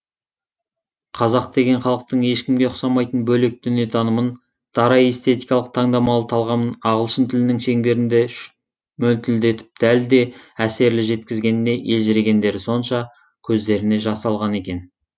қазақ деген халықтың ешкімге ұқсамайтын бөлек дүниетанымын дара эстетикалық таңдамалы талғамын ағылшын тілінің шеңберінде мөлтілдетіп дәл де әсерлі жеткізгеніне елжірегендері сонша көздеріне жас алған екен